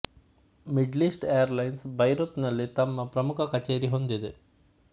middle east airlines Beirut ನಲ್ಲಿ ತಮ್ಮ ಮುಖ್ಯ ಕಚೇರಿ ಹೊಂದಿದೆ